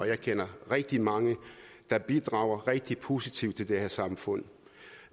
jeg kender rigtig mange der bidrager rigtig positivt til det her samfund